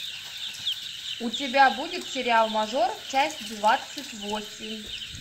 у тебя будет сериал мажор часть двадцать восемь